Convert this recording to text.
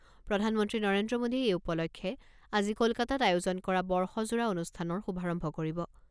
প্ৰধানমন্ত্ৰী নৰেন্দ্ৰ মোদীয়ে এই উপলক্ষে আজি কলকাতাত আয়োজন কৰা বৰ্ষজোৰা অনুষ্ঠানৰ শুভাৰম্ভ কৰিব।